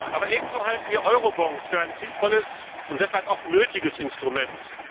Aber ebenso halten wir Eurobonds für ein sinnvolles und deshalb auch nötiges Instrument.